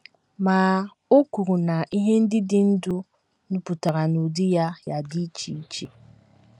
Ma o kwuru na ihe ndị dị ndụ ‘ nupụtara n’ụdị ya ya dị iche iche. ’